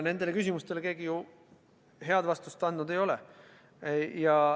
Nendele küsimustele keegi head vastust andnud ei ole.